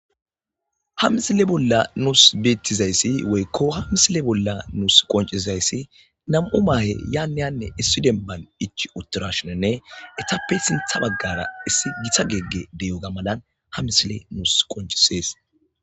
Ha missile Bola Nuss Betizaysi woyko Hamissile bola nus Qonccizaysii nam'u mahe yan yane Demban Ichidashine Etape sintha Bagara Issi Gita Gegey Ichidashine Ha missile Nus Qonccises